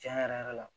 Cɛn yɛrɛ yɛrɛ la